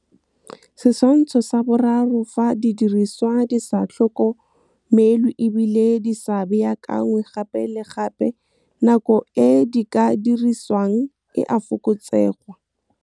Setshwanthso sa 3 - Fa didiriswa di sa tlhokomelwe e bile di sa baakangwe gape le gape, nako e di ka dirisiwang e a fokotsegwa.